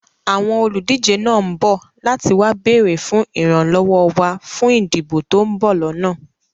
Àwọn olùdíje náà ń bọ̀ láti wá béèrè fún ìran lọ́wọ́ wá fún ìdìbò to ń bọ̀ lọ́nà